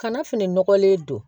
Kana fini nɔgɔlen don